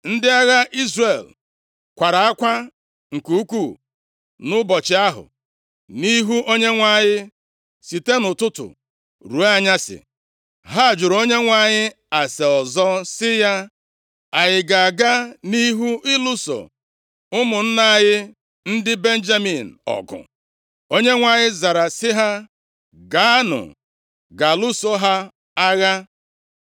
Ndị agha Izrel kwara akwa nke ukwuu nʼụbọchị ahụ nʼihu Onyenwe anyị site nʼụtụtụ ruo anyasị. Ha jụrụ Onyenwe anyị ase ọzọ sị ya, “Anyị ga-aga nʼihu ịlụso ụmụnna anyị ndị Benjamin ọgụ?” Onyenwe anyị zara sị ha, “Gaanụ ga lụso ha agha.”